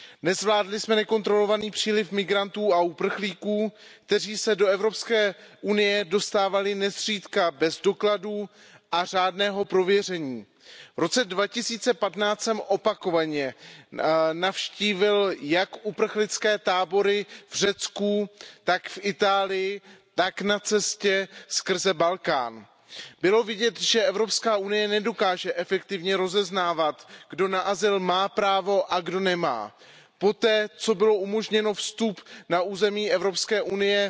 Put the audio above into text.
Nezvládli jsme nekontrolovaný příliš migrantů a uprchlíků, kteří se do Evropské unie dostávali nezřídka bez dokladů a řádného prověření. V roce 2015 jsem opakovaně navštívil jak uprchlické tábory v Řecku, tak v Itálii, tak na cestě skrze Balkán. Bylo vidět, že Evropská unie nedokáže efektivně rozeznávat, kdo na azyl má právo a kdo nemá. Poté, co byl umožněn vstup na území Evropské